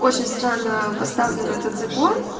очень странно поставлен этот закон